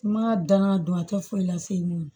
Ma danga don a tɛ foyi la fiyewu